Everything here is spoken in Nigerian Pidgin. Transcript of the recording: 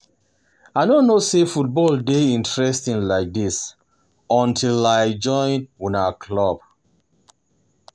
I no know say football dey dey interesting like dis until I join una club